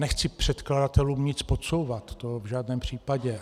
Nechci předkladatelům nic podsouvat, to v žádném případě.